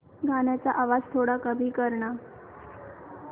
गाण्याचा आवाज थोडा कमी कर ना